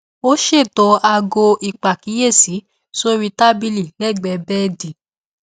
ó ṣètò aago ìpàkíyèsí sórí tábìlì lẹgbẹẹ bẹẹdì